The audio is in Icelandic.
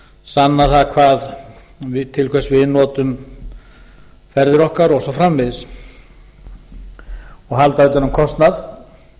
sanna til hvers við notum ferðir okkar og svo framvegis og halda utan um kostnað